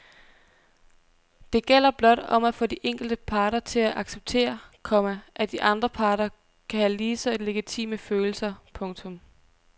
Det gælder blot om at få de enkelte parter til at acceptere, komma at de andre parter kan have lige så legitime følelser. punktum